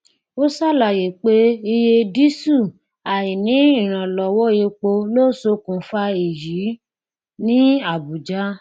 ó ṣàlàyé pé iye díísù àìní ìrànlọwọ epo ló ṣokùnfà èyí ní abuja